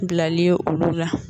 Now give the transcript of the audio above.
Bilaliye olu la